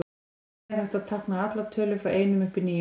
Þannig er hægt að tákna allar tölur frá einum upp í níu.